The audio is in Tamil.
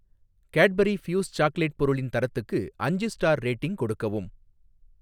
கேட்பரி ஃப்யூஸ் சாக்லேட் பொருளின் தரத்துக்கு அஞ்சு ஸ்டார் ரேட்டிங் கொடுக்கவும்